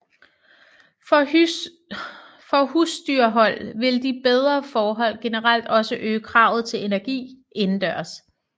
For husdyrhold vil de bedre forhold generelt også øge kravet til energi indendørs